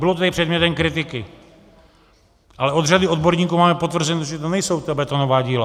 Bylo to tady předmětem kritiky, ale od řady odborníků máme potvrzeno, že to nejsou ta betonová díla.